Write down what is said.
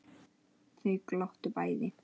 Þau glottu bæði.